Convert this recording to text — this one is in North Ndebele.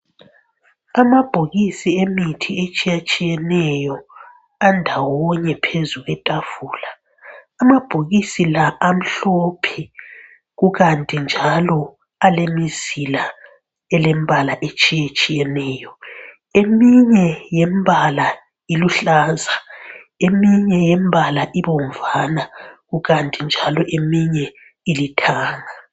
Amabhokisi emithi etshiye tshiyeneyo andawonye phezu kwetafula, amabhokisi la amhlophe kukanti njalo alemizila elembala etshiye tshiyeneyo, eminye ye mbala iluhlaza eminye, yembala ibomvana kukanti njalo eminye ilithanga.